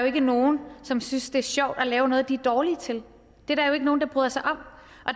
ikke nogen som synes det er sjovt at lave noget de er dårlige til det er der jo ikke nogen der bryder sig om